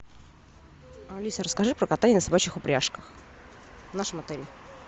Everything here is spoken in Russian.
алиса расскажи про катание на собачьих упряжках в нашем отеле